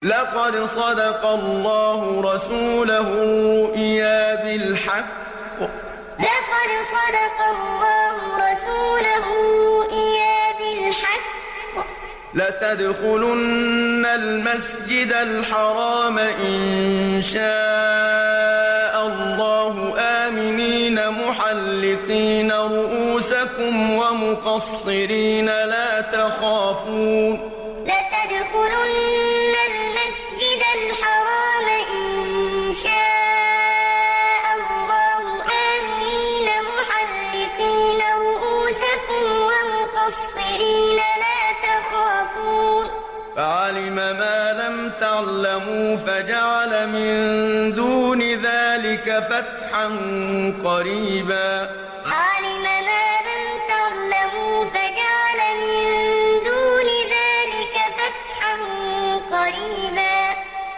لَّقَدْ صَدَقَ اللَّهُ رَسُولَهُ الرُّؤْيَا بِالْحَقِّ ۖ لَتَدْخُلُنَّ الْمَسْجِدَ الْحَرَامَ إِن شَاءَ اللَّهُ آمِنِينَ مُحَلِّقِينَ رُءُوسَكُمْ وَمُقَصِّرِينَ لَا تَخَافُونَ ۖ فَعَلِمَ مَا لَمْ تَعْلَمُوا فَجَعَلَ مِن دُونِ ذَٰلِكَ فَتْحًا قَرِيبًا لَّقَدْ صَدَقَ اللَّهُ رَسُولَهُ الرُّؤْيَا بِالْحَقِّ ۖ لَتَدْخُلُنَّ الْمَسْجِدَ الْحَرَامَ إِن شَاءَ اللَّهُ آمِنِينَ مُحَلِّقِينَ رُءُوسَكُمْ وَمُقَصِّرِينَ لَا تَخَافُونَ ۖ فَعَلِمَ مَا لَمْ تَعْلَمُوا فَجَعَلَ مِن دُونِ ذَٰلِكَ فَتْحًا قَرِيبًا